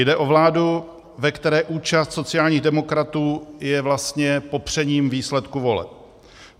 Jde o vládu, ve které účast sociálních demokratů je vlastně popřením výsledků voleb.